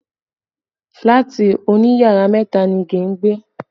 Fílàtì òní yàrá mẹ́ta ni Ige ń gbé